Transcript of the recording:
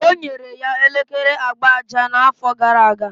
O nyere ya elekere agba aja n'afọ gara aga.